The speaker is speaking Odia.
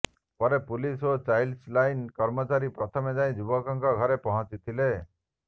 ପରେ ପୁଲିସ ଓ ଚାଇଲଡ ଲାଇନ କର୍ମଚାରୀ ପ୍ରଥମେ ଯାଇ ଯୁବକର ଘରେ ପହଂଚିଥିଲେ